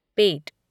पेट